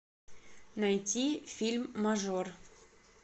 найти фильм мажор